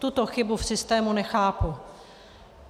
Tuto chybu v systému nechápu.